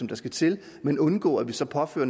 der skal til men undgå at vi så påfører